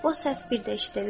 O səs bir də eşidildi.